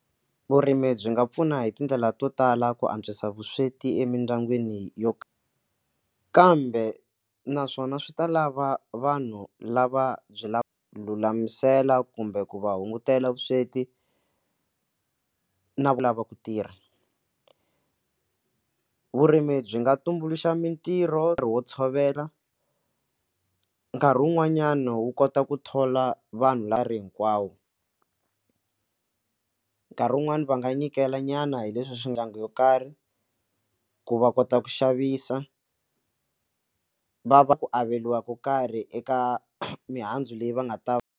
Vurimi byi nga pfuna hi tindlela to tala ku antswisa vusweti emindyangwini yo kambe naswona swi ta lava vanhu lava byi lava lulamisela kumbe ku va hungutela vusweti na ku lava ku tirha vurimi byi nga tumbuluxa mitirho hi wo tshovela nkarhi wun'wanyana wu kota ku thola vanhu lava ri hinkwawo, nkarhi wun'wani va nga nyikela nyana hi leswi swiganga yo karhi ku va kota ku xavisa va va ku averiwa ka karhi eka mihandzu leyi va nga ta.